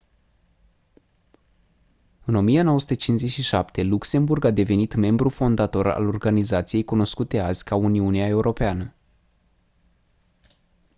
în 1957 luxemburg a devenit membru fondator al organizației cunoscute azi ca uniunea europeană